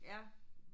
Ja